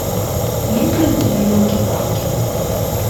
есть ли у тебя елки палки